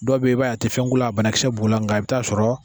Dɔw beyi b'a ye a ti fɛn k'olu a banakisɛ b'u la n ka i bɛ taa sɔrɔ.